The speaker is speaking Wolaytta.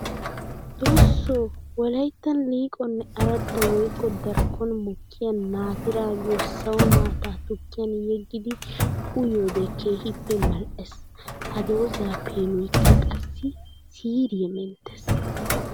Xooso! Wolayttan liiqonne aradda woykko darkkon mokkiya naatira giyo sawo maata tukkiyan yegiddi uyiyoode keehippe mal'ees. Ha dooza peenoykka qassi siiriya menttees.